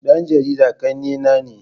Dan jarida kannena ne.